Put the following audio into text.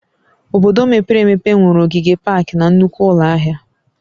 Obodo mepere emepe nwere ogige paakị na nnukwu ụlọ ahịa